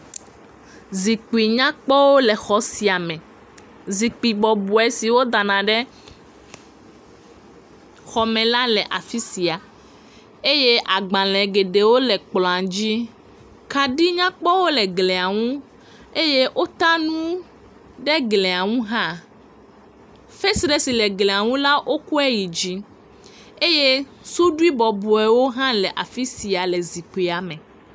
Zikpi nyakpɔwo le xɔ sia me. Zikpi bɔbɔe si wodana ɖe xɔme la le afi sia eye agbalẽ geɖewo le kplɔ̃a dzi. Kaɖi nyakpɔwo le glia ŋu. Eye wota nu ɖe glia ŋu hã. Fesre si le glia ŋu la wokɔe yi dzi eye suɖui bɔbɔewo hã le afi sia le zikpia me.